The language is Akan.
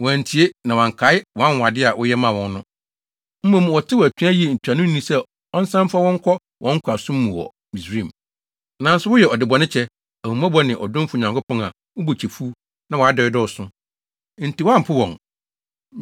Wɔantie, na wɔankae wʼanwonwade a woyɛ maa wɔn no. Mmom, wɔtew atua yii ntuanoni sɛ ɔnsan mfa wɔn nkɔ wɔn nkoasom mu wɔ Misraim. Nanso woyɛ ɔdebɔnekyɛ, ahummɔbɔ ne ɔdomfo Nyankopɔn a wo bo kyɛ fuw na wʼadɔe dɔɔso. Enti woampo wɔn,